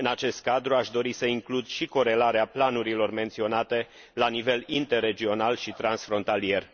În acest cadru aș dori să includ și corelarea planurilor menționate la nivel interregional și transfrontalier.